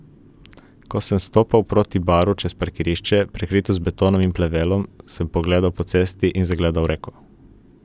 Ko sem stopal proti baru čez parkirišče, prekrito z betonom in plevelom, sem pogledal po cesti in zagledal reko.